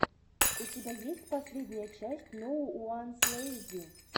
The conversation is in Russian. у тебя есть последняя часть ноууанслэйзи